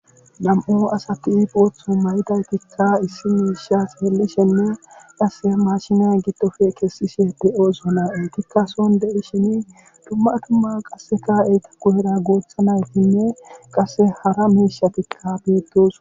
Nam7u asati boothu mayidaytikka issi miisha xeellishenne qasse maashine giddofe kessishe de7oosona eetikka son de7ishini dumma dumma qasseka eeta guyera guutha naytinne qasse hara miishatikka beettooso.